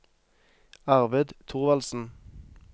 Arvid Thorvaldsen